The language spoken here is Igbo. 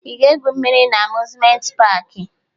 Ị ga-egwu mmiri na Amuzmenti paakị?